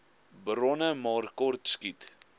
bronne maar kortskiet